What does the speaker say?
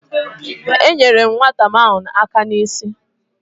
Enyere m nwata ahụ aka n’isi